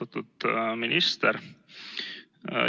Austatud minister!